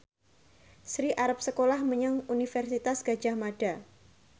Sri arep sekolah menyang Universitas Gadjah Mada